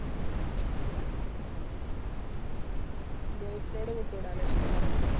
boys ന്നോട് കൂട്ടു കൂടാനാ ഇഷ്ടം ല്ലെ?